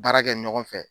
Baara kɛ ɲɔgɔn fɛ